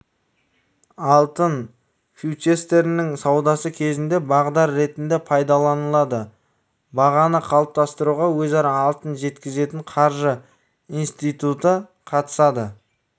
алтын фьючерстерінің саудасы кезінде бағдар ретінде пайдаланылады бағаны қалыптастыруға өзара алтын жеткізетін қаржы институты қатысады